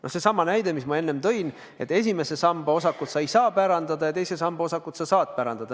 No seesama näide, mis ma enne tõin: esimese samba osakut sa ei saa pärandada, aga teise samba osakut sa saad päranda.